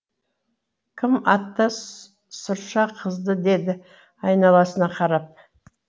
кім атты сұршақызды деді айналасына қарап